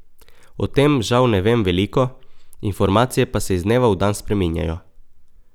O tem žal ne vem veliko, informacije pa se iz dneva v dan spreminjajo.